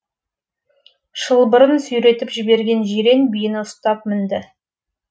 шылбырын сүйретіп жіберген жирен биені ұстап мінді